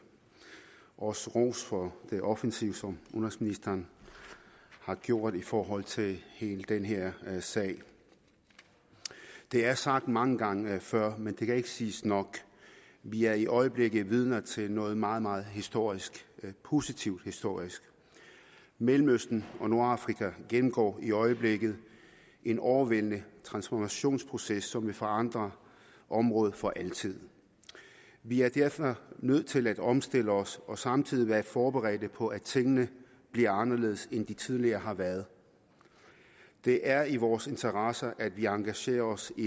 og også ros for det offensive som udenrigsministeren har gjort i forhold til hele den her sag det er sagt mange gange før men det kan ikke siges nok vi er i øjeblikket vidner til noget meget meget historisk positivt historisk mellemøsten og nordafrika gennemgår i øjeblikket en overvældende transformationsproces som vil forandre området for altid vi er derfor nødt til at omstille os og samtidig være forberedt på at tingene bliver anderledes end de tidligere har været det er i vores interesse at vi engagerer os i